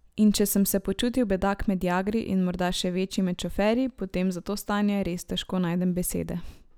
In če sem se počutil bedak med jagri in morda še večji med šoferji potem za to stanje res težko najdem besede.